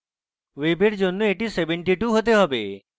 ওয়েবের জন্য এটি 72 হতে পারে